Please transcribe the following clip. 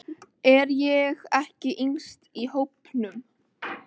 Er ég ekki yngst í hópnum?